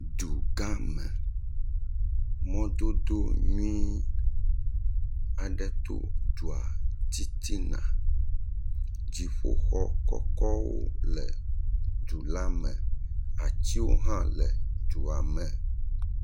Du gã me, mɔdodo nyui aɖe to dua titina dziƒoxɔ kɔkɔwo le du la me, atiwo hã le dua me.